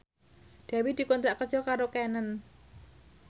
Dewi dikontrak kerja karo Canon